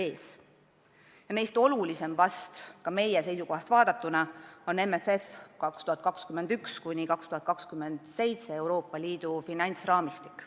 Neist vahest olulisim ka meie seisukohast vaadatuna on MFM 2021–2027, Euroopa Liidu finantsraamistik.